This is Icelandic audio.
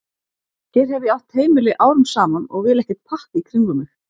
Hér hef ég átt heimili árum saman og vil ekkert pakk í kringum mig.